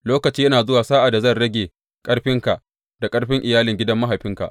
Lokaci yana zuwa sa’ad da zan rage ƙarfinka da ƙarfin iyalin gidan mahaifinka.